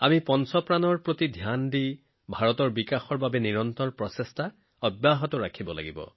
পাঁচটা নীতিৰ প্ৰতি লক্ষ্য ৰাখি ভাৰতৰ উন্নয়নৰ বাবে আমি অবিৰতভাৱে কাম কৰিব লাগিব